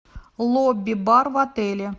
лобби бар в отеле